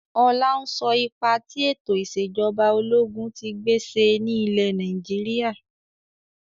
Ọlá ń sọ ipa tí ètò ìsèjọba ológun tí gbé ṣe ni ilẹ̀ Nàìjíríà.